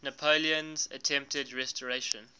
napoleon's attempted restoration